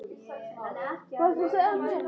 Það var frá